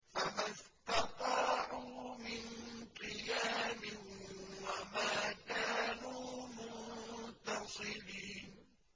فَمَا اسْتَطَاعُوا مِن قِيَامٍ وَمَا كَانُوا مُنتَصِرِينَ